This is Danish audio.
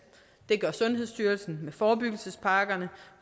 det gør sundhedsstyrelsen med forebyggelsespakkerne